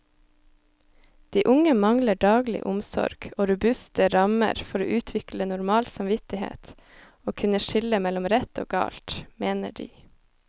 De unge mangler daglig omsorg og robuste rammer for å utvikle normal samvittighet og kunne skille mellom rett og galt, mener de.